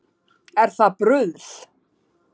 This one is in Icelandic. Er það bruðl